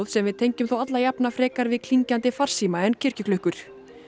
sem við tengjum þó alla jafna frekar við klingjandi farsíma en kirkjuklukkur